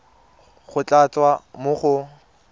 go tla tswa mo go